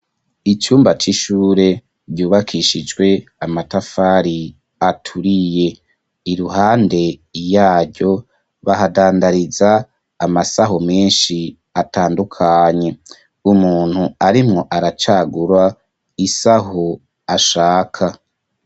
Icumba c'ishure ryubakishijwe amatafari aturiye iruhande yaryo bahadandariza amasaho meshi atandukanye umuntu arimwo aracagura isaho ashaka.